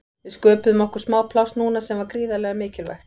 Við sköpuðum okkur smá pláss núna sem var gríðarlega mikilvægt.